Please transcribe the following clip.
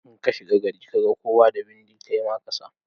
In ka shiga gari kaga kowa da bindi kai ma kasa.